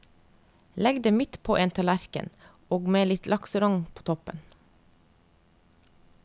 Legg det midt på en tallerken, og med litt lakserogn på toppen.